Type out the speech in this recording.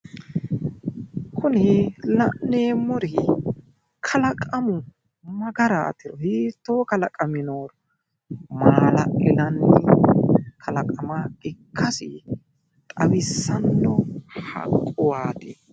Kuni la'neemmori kalaqamu ma garaatiro hiittoo kalaqame nooro maala'linanni kalaqama ikkasi xawissanno haqquwaati.